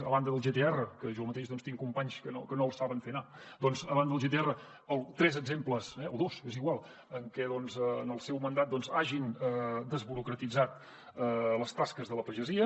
a banda del gtr que jo mateix tinc companys que no el saben fer anar doncs a banda del gtr tres exemples o dos és igual en què en el seu mandat hagin desburocratitzat les tasques de la pagesia